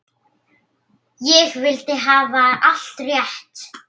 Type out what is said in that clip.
Ég vildi hafa allt rétt.